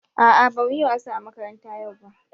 A'a bamu yi wasa a makaranta yau ba.